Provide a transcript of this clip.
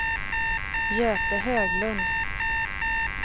Göte Höglund